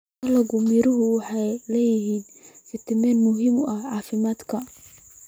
Dalagyada miraha waxay leeyihiin fiitamiinno muhiim u ah caafimaadka.